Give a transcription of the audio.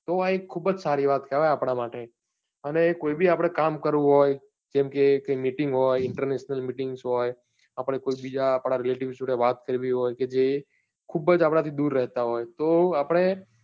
તો આ એક ખુબજ સારી વાત કહેવાય આપના માટે અને કોઈ બી આપને કામ કરવું હોય જેમ કે meeting હોય international meeting હોય આપને કોઈ બીજા આપના relatives જોડે વાત કરવી હોય કે જે ખુબજ આપણા થી દુર રહેતા હોય તો આપણે